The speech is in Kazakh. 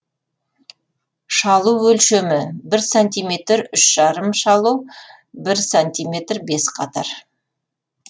шалу өлшемі бір сантиметр үш жарым шалу бір сантиметр бес қатар